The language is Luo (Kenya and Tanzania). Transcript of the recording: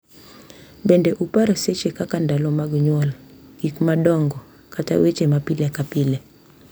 Kendo upar seche kaka ndalo mag nyuol, gik madongo, kata weche ma pile ka pile,